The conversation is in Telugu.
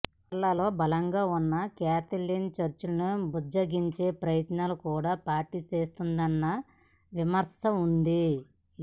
కేరళలో బలంగా వున్న కేథలిక్ చర్చిని బుజ్జగించే ప్రయత్నాలు కూడా పార్టీ చేస్తుందన్న విమర్శ వుంది